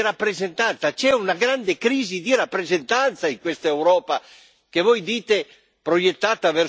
C'è una grande crisi di rappresentanza in questa Europa, che voi dite proiettata verso più democrazia.